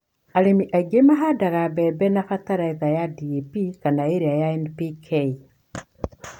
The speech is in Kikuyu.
Arĩmi aingĩ mahandaga mbembe na bataraitha ya DAP kana ĩrĩa ya NPK.